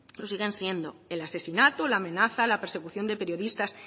lo siguen siendo el asesinato la amenaza la persecución de periodistas